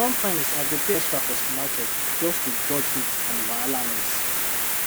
sometimes i go pay extra for supermarket just to dodge heat and wahala noise